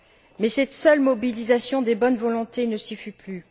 Mais cette seule mobilisation des bonnes volontés ne suffit plus.